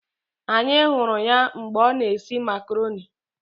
Anyị hụrụ ya mgbe ọ na esi makaroni